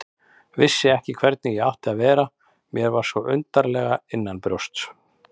Vissi ekki hvernig ég átti að vera, mér var svo undarlega innanbrjósts.